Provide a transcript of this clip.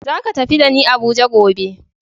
Zaka tafi da ni Abuja gobe.